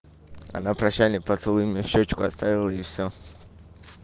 она прощальный поцелуй мне в щёчку оставила и всё